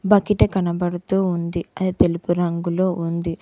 బకిట కనబడుతూ ఉంది అది తెలుపు రంగులో ఉంది.